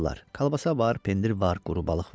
Kalbasa var, pendir var, quru balıq var.